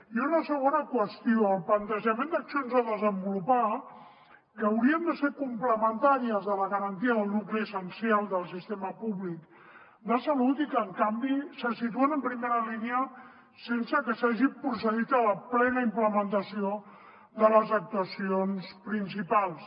i una segona qüestió el plantejament d’accions a desenvolupar que haurien de ser complementàries de la garantia del nucli essencial del sistema públic de salut i que en canvi se situen en primera línia sense que s’hagi procedit a la plena implementació de les actuacions principals